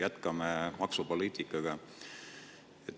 Jätkame maksupoliitika teemat.